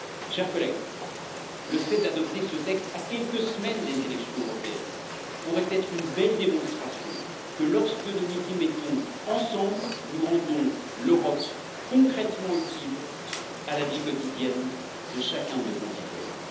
Chers collègues, le fait d'adopter ce texte à quelques semaines des élections européennes pourrait être une belle démonstration que lorsque nous nous y mettons ensemble nous rendons l'Europe concrètement utile à la vie quotidienne de chacun de nos concitoyens.